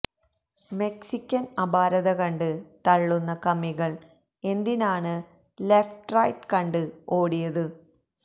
Mexican Aparatha കണ്ട് തള്ളുന്ന കമ്മികള് എന്തിനാണ് ലെഫ്റ്റ് റൈറ്റ് കണ്ട് ഓടിയത്